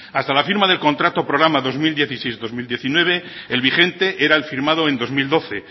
hasta la firma del contrato programa dos mil dieciséis dos mil diecinueve el vigente era el firmado en dos mil doce